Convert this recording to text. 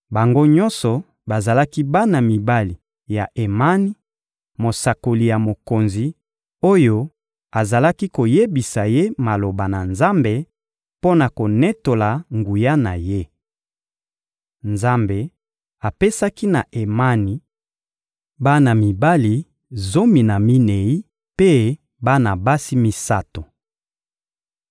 Bango nyonso bazalaki bana mibali ya Emani, mosakoli ya mokonzi, oyo azalaki koyebisa ye maloba na Nzambe mpo na konetola nguya na Ye. Nzambe apesaki na Emani bana mibali zomi na minei mpe bana basi misato.